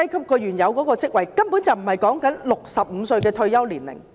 根本不是以65歲作為退休年齡。